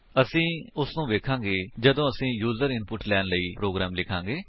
ਅਸੀ ਉਸਨੂੰ ਵੇਖਾਂਗੇ ਜਦੋਂ ਅਸੀ ਯੂਜ਼ਰ ਇਨਪੁਟ ਲੈਣ ਲਈ ਆਪਣਾ ਪ੍ਰੋਗਰਾਮ ਲਿਖਾਂਗੇ